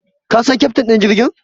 Ka san keftin ɗin jirgin?